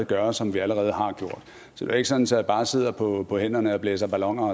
gør og som vi allerede har gjort så det er ikke sådan at jeg bare sidder på på hænderne og blæser balloner